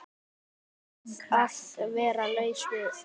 Að vera laus við